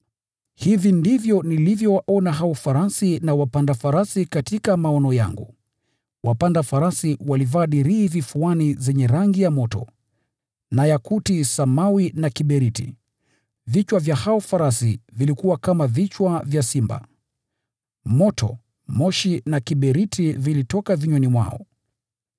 Hivi ndivyo nilivyowaona hao farasi na wapanda farasi katika maono yangu: Wapanda farasi walivaa dirii vifuani zenye rangi nyekundu sana kama ya moto na yakuti samawi na kiberiti. Vichwa vya hao farasi vilikuwa kama vichwa vya simba, na moto, moshi na kiberiti vilitoka vinywani mwao.